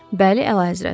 Bəli, Əlahəzrət.